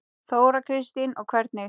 Þóra Kristín: Og hvernig?